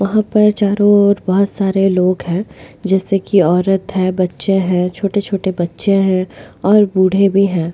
वहां पर चारों ओर बहुत सारे लोग हैं जैसे कि औरत है बच्चे हैं छोटे-छोटे बच्चे हैं और बूढ़े भी हैं।